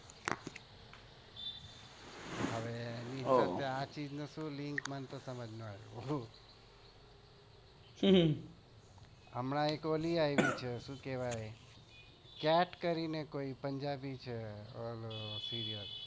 ઓહ્હ આ ચીઝ નું શું link મને તો નાઈ સમજ માં નાઈ આવી હમણાં cat કરીને કોઈ પંજાબી છે